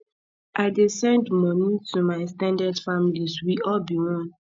i dey send moni to my ex ten ded family we all be one